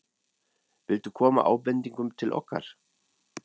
Viltu koma ábendingum til okkar?